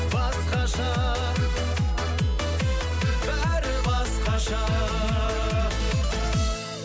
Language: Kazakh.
басқаша бәрі басқаша